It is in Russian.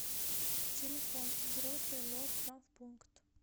телефон взрослый лор травмпункт